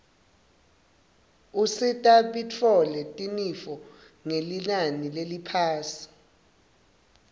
usita bitfole tinifo ngelinani leliphasi